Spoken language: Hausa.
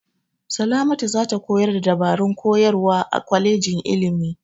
Salamatu za ta koyar da dabarun koyarwa a kwalejin ilimi.